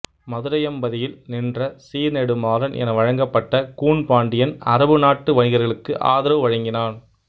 மதுரையம்பதியில் நின்றசீர் நெடுமாறன் என வழங்கப்பட்ட கூன் பாண்டியன் அரபு நாட்டு வணிகர்களுக்கு ஆதரவு வழங்கினான்